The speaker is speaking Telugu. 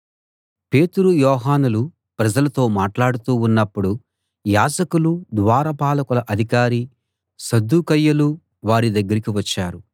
పేతురు యోహానులు ప్రజలతో మాట్లాడుతూ ఉన్నపుడు యాజకులూ ద్వారపాలకుల అధికారీ సద్దూకయ్యులూ వారి దగ్గరికి వచ్చారు